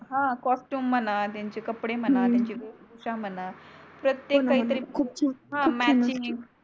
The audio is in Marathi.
हा कास्ट्यूम म्हणा त्याचे कपडे हो हो म्हणा त्यांची वेशभूषा म्हणा प्रतेक काही तरी खूप छान हा मॅचिंग